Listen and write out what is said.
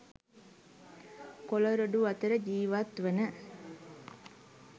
කොළ රොඩු අතර ජීවත් වන